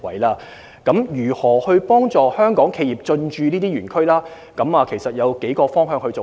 至於如何幫助香港企業進駐這些園區，我們會循數個方面進行。